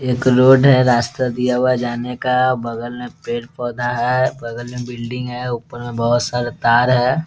एक रोड है रास्ता दिया हुआ है जाने का बगल में पेड़-पौधा है बगल में बिल्डिंग है ऊपर में बहुत सारा तार है ।